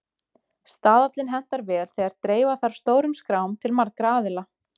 Staðallinn hentar vel þegar dreifa þarf stórum skrám til margra aðila.